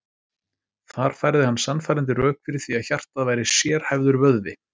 Þar færði hann sannfærandi rök fyrir því að hjartað væri sérhæfður vöðvi.